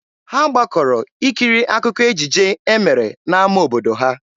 Ha gbakọrọ ikiri akụkọ ejije e mere n'ama obodo ha.